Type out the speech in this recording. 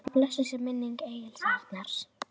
Blessuð sé minning Egils Arnar.